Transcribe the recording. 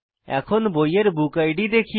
এখন বইয়ের বুকিড দেখি